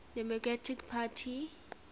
free democratic party